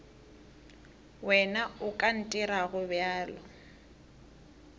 wena o ka ntirago bjalo